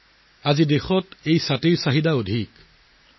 আজি এই ছাতিৰ চাহিদা সমগ্ৰ দেশতে বৃদ্ধি পাইছে